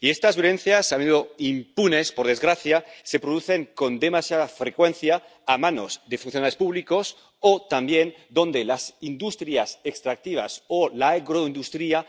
Y estas violencias —a menudo impunes, por desgracia— se producen con demasiada frecuencia a manos de funcionarios públicos o, también, donde las industrias extractivas o la agroindustria